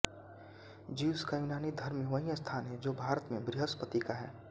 Zeus का यूनानी धर्म में वही स्थान है जो भारत में बृहस्पति का है